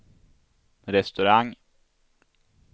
restaurang